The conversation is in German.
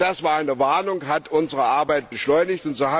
Das war eine Warnung und hat unsere Arbeit beschleunigt.